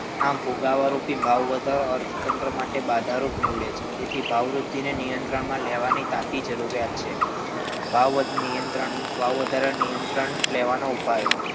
આમ ફુગાવારૂપી ભાવવધારો અર્થતંત્ર માટે બાધારૂપ નીવડે છે તેથી ભાવવૃદ્ધિને નિયંત્રણમાં લેવાની ખાસ્સી જરૂરિયાત છે ભાવવધારાને નિયંત્રણ લેવાના ઉપાયો